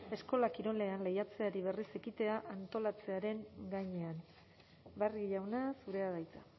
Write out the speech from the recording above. eskola kirolean lehiatzeari berriz ekitea antolatzearen gainean barrio jauna zurea da hitza